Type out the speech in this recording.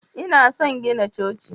lna son gina Coci.